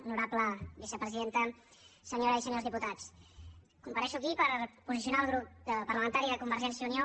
honorable vicepresidenta senyores i senyors diputats comparec aquí per posicionar el grup parlamentari de convergència i unió